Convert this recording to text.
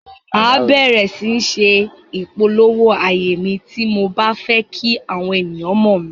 Màá bẹ̀ẹ̀rẹ̀ sí ní se ìpolówó ààyè mi, tí mo bá fẹ́ kí àwọn ènìyàn mọ̀ mí.